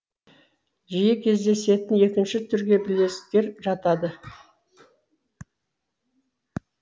жиі кездесетін екінші түрге білезіктер жатады